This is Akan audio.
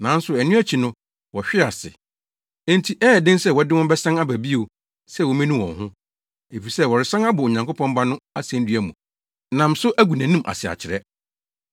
Nanso ɛno akyi no wɔhwee ase. Enti ɛyɛ den sɛ wɔde wɔn bɛsan aba bio sɛ wommenu wɔn ho, efisɛ wɔresan abɔ Onyankopɔn Ba no asennua mu nam so agu nʼanim ase akyerɛ.